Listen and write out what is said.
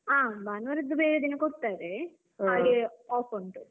ಆ ಭಾನುವಾರದ್ದು ಬೇರೆ ದಿನ ಕೊಡ್ತರೆ ಹಾಗೆ off ಉಂಟು.